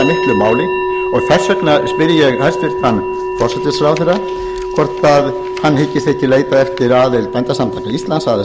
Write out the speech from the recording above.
miklu máli og þess vegna spyr ég hæstvirtan forsætisráðherra hvort hann hyggist ekki leita eftir aðild bændasamtaka íslands að